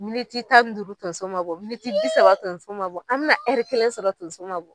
Miniti tan n duuru tonso ma bɔ, miniti bi saba tonso ma bɔ, an mɛ na kelen sɔrɔ tonso ma b